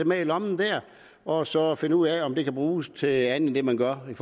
med i lommen der og så finde ud af om det kan bruges til andet end det man gør i